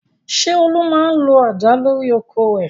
Ṣé Olú máa ń lo àdá lórí oko rẹ̀?